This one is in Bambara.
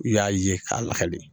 I y'a ye k'a lakale